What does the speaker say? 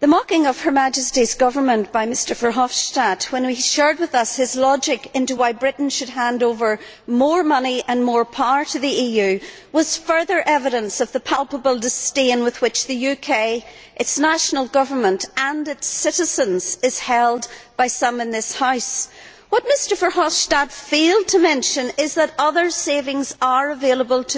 the mocking of Her Majesty's Government by Mr Verhofstadt when he shared with us his logic as to why Britain should hand over more money and more power to the EU was further evidence of the palpable disdain in which the UK, its national government and its citizens are held by some in this House. What Mr Verhofstadt failed to mention is that other savings are available to the UK.